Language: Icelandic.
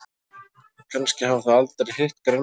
Kannski hafa þau aldrei hitt grænmeti.